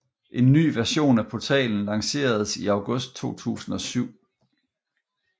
En ny version af portalen lanceredes i august 2007